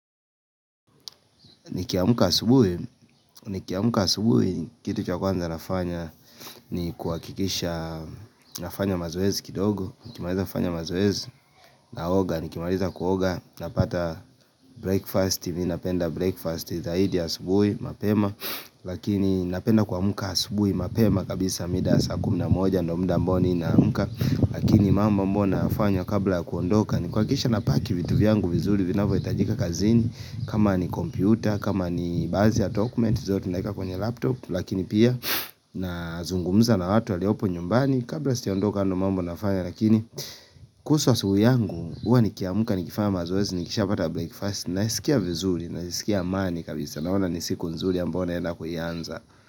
Nikiamka asubuhi, nikiamka asubuhi, kitu cha kwanza nafanya ni kuhakikisha nafanya mazoezi kidogo, nikimaliza kufanya mazoeezi, naoga, nikimaliza kuoga, napata breakfast, mimi napenda breakfast, zaidi asubuhi, mapema, lakini napenda kuamka asubuhi, mapema, kabisa mida saa kumi na moja, ndo muda amba ninaamka, lakini mambo ambayo nafanya kabla kuondoka, nikuhakikisha napaki vitu vyangu vizuri vinavyohitajika kazini, kama ni kompyuta, kama ni baadhi dokumenti zote naeka kwenye laptop Lakini pia na zungumza na watu waliopo nyumbani Kabla sijaondoka hayo ndo mambo nafanya Lakini kuhusu asubuhi yangu huwa nikiamka nikifanya mazoezi Nikishapata breakfast naskia vizuri naskilia amani kabisa Naona ni siku nzuri ambayo naenda kuianza.